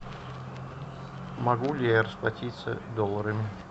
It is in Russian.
могу ли я расплатиться долларами